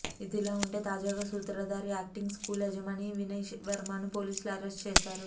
ఇదిల ఉంటే తాజాగా సూత్రధారి యాక్టింగ్ స్కూల్ యజమాని వినయ్ వర్మను పోలీసులు అరెస్ట్ చేశారు